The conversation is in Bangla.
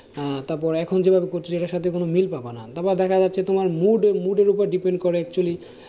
তারপরে দেখা যাচ্ছে তোমার mood mood এর ওপর depend করে actually